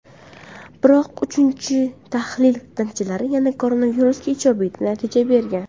Biroq uchinchi tahlil natijalari yana koronavirusga ijobiy natija bergan.